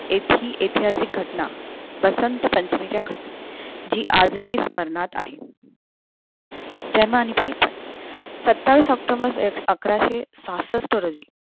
अशी ऐतिहासिक घटना वसंत पंचमीला घातली जी आजही स्मरणात आहे जन्म आणि बालपण सत्तावीस october अकराशे सहासष्ट रोजी